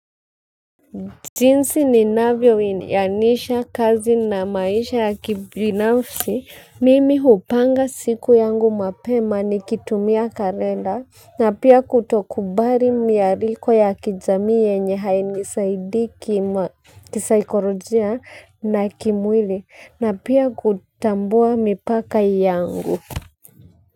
Jinsi ninavyoianisha kazi na maisha ya kibinafsi, mimi hupanga siku yangu mapema nikitumia kalenda na pia kutokubali mialiko ya kijamii yenye hainisaidi kisaikolojia na kimwili na pia kutambua mipaka yangu.